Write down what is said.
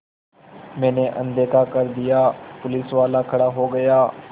मैंने अनदेखा कर दिया पुलिसवाला खड़ा हो गया